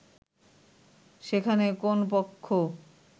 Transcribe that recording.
সেখানে কোন পক্ষ